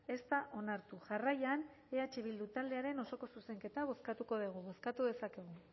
ez da onartu jarraian eh bildu taldearen osoko zuzenketa bozkatuko dugu bozkatu dezakezue